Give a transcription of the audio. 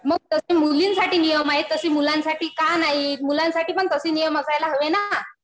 मग जसे मुलींसाठी नियम आहेत तसे मुलांसाठी का नाही? मुलांसाठी पण तसे नियम असायला हवे ना.